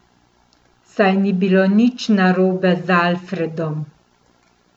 Saj ni bilo nič narobe z Alfredom.